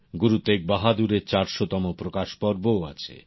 গুরু তেগবাহাদুরের চারশোতম প্রকাশ পর্বও আছে